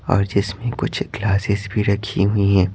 और जिसमें कुछ ग्लासेस भी रखी हुई हैं।